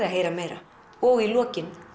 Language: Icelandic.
að heyra meira og í lokin